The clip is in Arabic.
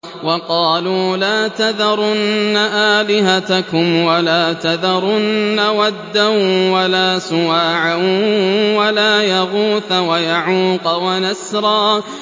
وَقَالُوا لَا تَذَرُنَّ آلِهَتَكُمْ وَلَا تَذَرُنَّ وَدًّا وَلَا سُوَاعًا وَلَا يَغُوثَ وَيَعُوقَ وَنَسْرًا